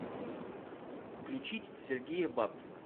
включить сергея бабкина